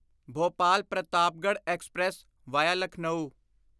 Bhopal Pratapgarh express via Lucknow